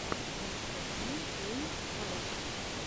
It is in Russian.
анастасия эй файв